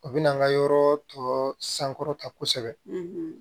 O bɛna an ka yɔrɔ tɔ sankɔrɔta kosɛbɛ